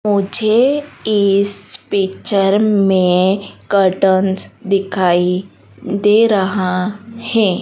मुझे इस पिक्चर में कर्टन दिखाई दे रहा है।